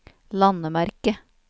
landemerke